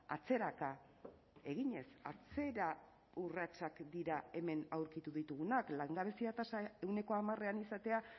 atzeraka eginez atzera urratsak dira hemen aurkitu ditugunak langabezia tasa ehuneko hamarean izatea